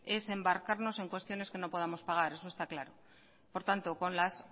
es embarcarnos en cuestiones que no podemos pagar eso esta claro por tanto por las